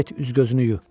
Get üz-gözünü yu.